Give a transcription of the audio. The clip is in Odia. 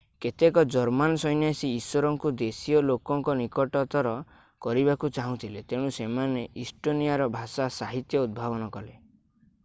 କେତେକ ଜର୍ମାନ ସନ୍ୟାସୀ ଈଶ୍ଵରଙ୍କୁ ଦେଶୀୟ ଲୋକଙ୍କ ନିକଟତର କରିବାକୁ ଚାହୁଁଥିଲେ ତେଣୁ ସେମାନେ ଇଷ୍ଟୋନିଆର ଭାଷା ସାହିତ୍ୟ ଉଦ୍ଭାବନ କଲେ